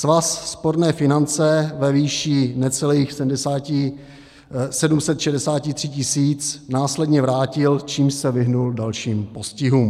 Svaz sporné finance ve výši necelých 763 tisíc následně vrátil, čímž se vyhnul dalším postihům.